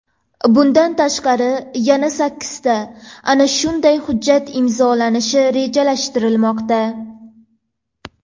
Bundan tashqari, yana sakkizta ana shunday hujjat imzolanishi rejalashtirilmoqda.